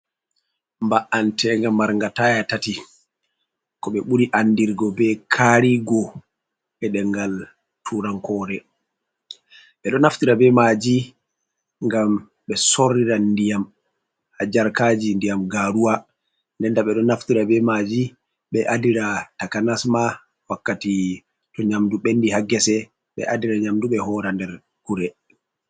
Ba’antenga marnga taya tati ko ɓe ɓuri andirgo be karigo be ɗemngal turankore ɓe ɗo naftira be maji ngam ɓe sorrira ndiyam ha jarkaji ndiyam garuwa nden nda ɓe ɗo naftira be maji ɓe adira takanasma wakkati to nyamdu ɓendi ha ngese ɓe adira nyamdu ɓe hora nder gure.